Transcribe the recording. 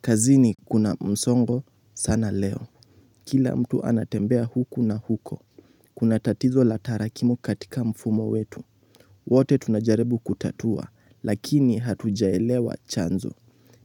Kazini kuna msongo sana leo. Kila mtu anatembea huku na huko. Kuna tatizo la tarakimu katika mfumo wetu. Wote tunajarebu kutatua, lakini hatujaelewa chanzo.